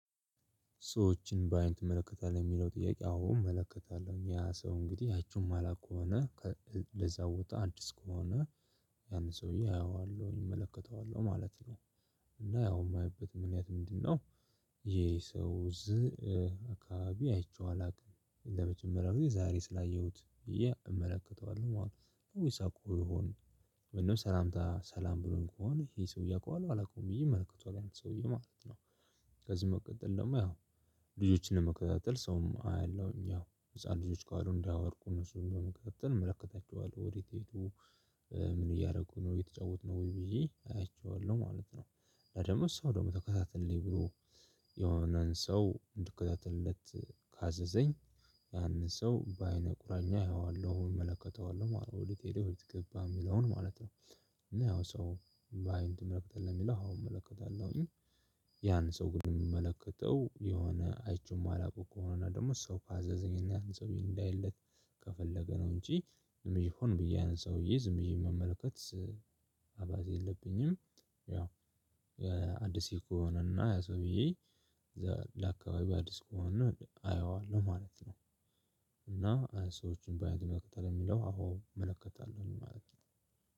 ሰዎችን በአይን ትመለከታለህ የሚለው ጥያቄ? አዎ እመለከታለሁ ያ ሰው እንግዲህ አይቸው እማላውቅ ከሆነ ለዛ ቦታ አዲስ ከሆነ ያን ሰውዬ አየዋለሁ እመለከተዋለሁ ማለት ነው። እና ያው የማየበትም ምክንያት ምንድነው? ይሄ ሰው አካባቢ አይቼው አላውቅም ለመጀመሪያው የዛሬ ስላየሁት ብየ እመለከተዋለሁ ወይስ አዉቀው ይሆን? ምንም ሰላምታ ሰላም ብሎኝ ከሆነ ይሄ ሰውዬ አውቀዋለሁ አላውቀውም ብዬ እመለከተዋለሁ አንተ ሰውዬ ማለት ነው። ከዚህ መቀጠል ደግሞ ያው ልጆችን ለመከታተል ሰውም አያለሁኝ ያው ህፃን ልጆች ካሉ እንዳይወድቁ እነሱን ለመከታተል እመለከታቸዋለሁ ወዴት ሄዱ? ምን እያደረጉ ነው የተጫወቱ ነው ወይ ብዬ አያቸዋለሁ ማለት ነው። እና ደግሞ ሰው ደግሞ ተከታተልልኝ ብሎ። የሆነን ሰው እንድከታተልለት ካዘዘኝ። ያንን ሰው በአይነ ቁራኛ አየዋለሁ እመለከተዋለሁ ወዴት ሄደው ወዴት ገባ የሚለውን ማለት ነው። እና ያው ሰው በአይን ትመለከታለህ ለሚለው አዎ እመለከታለሁኝ። ያን ሰው ግን እምመለከተው የሆነ አይቸው እማላዉቀው ከሆነ እና ደግሞ ሰው ካዘዘኝ እና ያንን ሰዉየ እንዳይለት ከፈለገ ነው እንጅ ዝም ብየ ሁን ብየ ዝም ብየ መመልከት። አባዜ የለብኝም። ያው አዲስ ልጅ ከሆነና ያ ሰዉየ እዛ አካባቢ አዲስ ከሆነ አየዋለሁ ማለት ነው። እና ሰዎችን በአይን ይመለከታሉ ለሚለው አወ እመለከታለሁ ለማለት ነው።